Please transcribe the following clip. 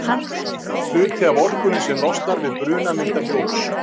Hluti af orkunni sem losnar við bruna myndar ljós.